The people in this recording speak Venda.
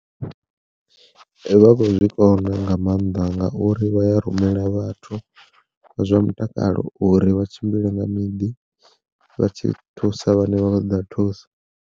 Vha khou zwi kona nga mannḓa ngauri vha ya rumela vhathu vha zwa mutakalo uri vha tshimbile nga miḓi vha tshi thusa vhane vha khou ṱoḓa thuso.